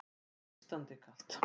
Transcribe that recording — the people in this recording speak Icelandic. Svo nístandi kalt.